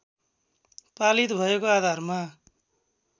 पालित भएको आधारमा